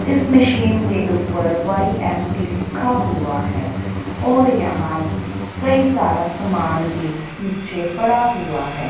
इस मशीन के ऊपर वाई_एम_टी लिखा हुआ है और यहां कई सारा सामान भी नीचे पड़ा हुआ है।